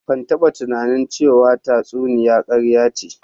Ban taba tunanin ce wa tsatsuniya karya ce